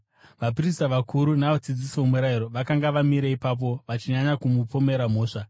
Vaprista vakuru navadzidzisi vomurayiro vakanga vamire ipapo, vachinyanya kumupomera mhosva.